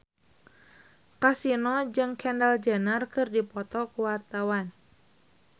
Kasino jeung Kendall Jenner keur dipoto ku wartawan